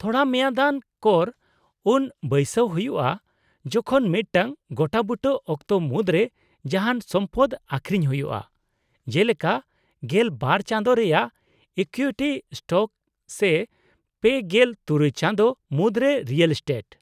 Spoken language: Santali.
-ᱛᱷᱚᱲᱟ ᱢᱮᱭᱟᱫᱟᱱ ᱠᱚᱨ ᱩᱱ ᱵᱟᱹᱭᱥᱟᱹᱣ ᱦᱩᱭᱩᱜᱼᱟ ᱡᱚᱠᱷᱚᱱ ᱢᱤᱫᱴᱟᱝ ᱜᱚᱴᱟᱵᱩᱴᱟᱹ ᱚᱠᱛᱚ ᱢᱩᱫᱨᱮ ᱡᱟᱦᱟᱱ ᱥᱚᱢᱯᱚᱫ ᱟᱹᱠᱷᱨᱤᱧ ᱦᱩᱭᱩᱜᱼᱟ, ᱡᱮᱞᱮᱠᱟ ᱑᱒ ᱪᱟᱸᱫᱳ ᱨᱮᱭᱟᱜ ᱤᱠᱩᱭᱤᱴᱤ ᱥᱴᱚᱠ ᱥᱮ ᱓᱖ ᱪᱟᱸᱫᱳ ᱢᱩᱫᱨᱮ ᱨᱤᱭᱮᱞ ᱮᱥᱴᱮᱴ ᱾